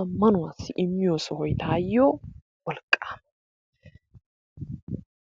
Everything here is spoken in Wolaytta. ammanuwassi immiyo sohoy taayyo wolqqaama.